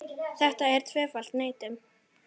Þetta er tvöföld neitun.